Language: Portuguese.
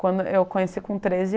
Quando eu conheci com treze .